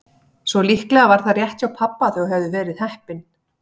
Svo líklega var það rétt hjá pabba að þau hefðu verið heppin.